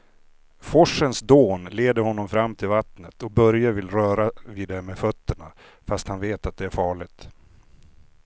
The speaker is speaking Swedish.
Forsens dån leder honom fram till vattnet och Börje vill röra vid det med fötterna, fast han vet att det är farligt.